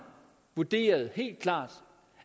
vurderet